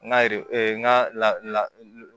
N ka n ka la